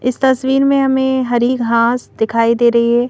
इस तस्वीर में हमें हरी घास दिखाई दे रही है।